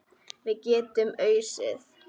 Við getum ausið.